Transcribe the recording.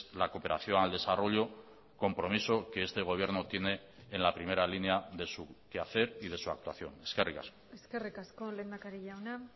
la cooperación al desarrollo compromiso que este gobierno tiene en la primera línea de su quehacer y de su actuación eskerrik asko eskerrik asko lehendakari jauna